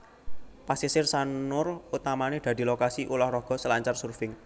Pasisir Sanur utamané dadi lokasi ulah raga selancar surfing